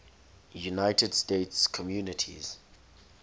united states communities